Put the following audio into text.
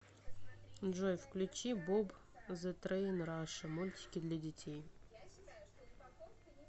джой включи боб зэ трейн раша мультики для детей